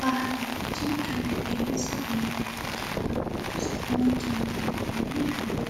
በሀገራችን ከሚገኙ ሳቢ እና ማራኪ ባህሎች ውስጥ ነጭ ነጠላ ወይንም ጋቢ፣